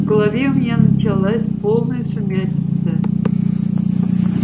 в голове у меня началась полная сумятица